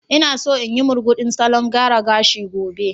Ina so in yi murguɗin salon gyara gashi gobe.